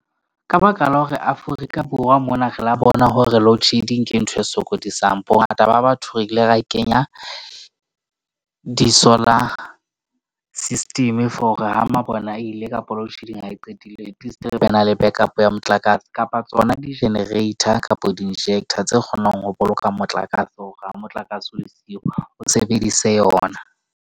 Ka baka la hore Afrika Borwa mona re la bona hore loadshedding, ke ntho e sokodisang. Bongata ba batho, re ile ra kenya di-solar system for ha mabone a ile kapa load shedding ha e qadile, at least re be na le back up ya motlakase kapa tsona di-generator kapa di-injector tse kgonang ho boloka motlakase. Hore ha motlakase o le siyo, o sebedise yona.